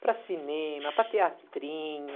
para cinema, para teatrinho.